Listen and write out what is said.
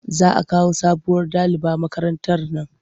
Za a kawo sabuwar daliba makarantar nan.